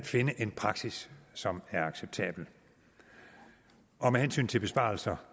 findes en praksis som er acceptabel med hensyn til besparelser